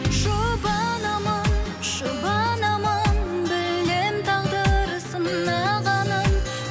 жұбанамын жұбанамын білемін тағдыр сынағанын